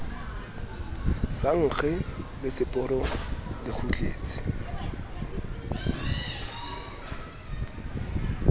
sa nkge leseporo le kgutletse